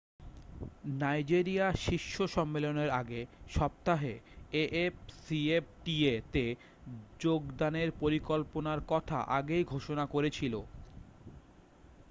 Nigeria শীর্ষ সম্মেলনের আগের সপ্তাহে afcfta-তে যোগদানের পরিকল্পনার কথা আগেই ঘোষণা করেছিলো।